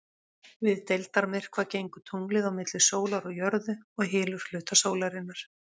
Við deildarmyrkva gengur tunglið á milli sólar og jörðu og hylur hluta sólarinnar.